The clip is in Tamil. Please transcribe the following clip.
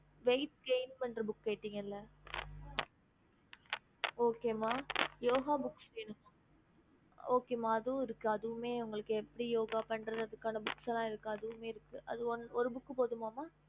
ஹம்